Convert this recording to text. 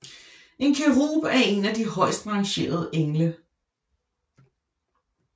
En kerub er en af de højst rangerede engle